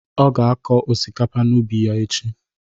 Ọ ga akọ osikapa n'ubi ya echi.